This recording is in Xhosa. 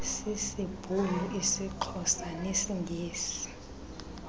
sisibhulu isixhosa nesingesi